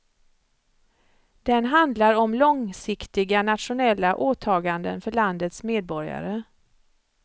Den handlar om långsiktiga nationella åtaganden för landets medborgare.